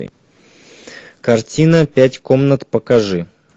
картина пять комнат покажи